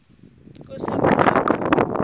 kusengwaqa